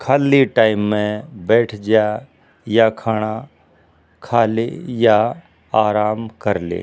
खाली टाइम म बैठ ज्या या खाणा खा ले या आराम कर ले।